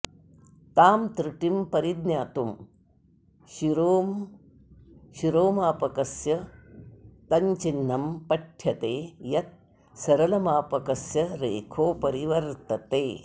तां त्रुटिं परिज्ञातुं शिरोमापकस्य तञ्चिह्न्ं पठ्य ते यत् सरलमापकस्य रेखोपरि वर्तते